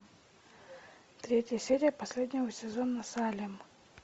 третья серия последнего сезона салем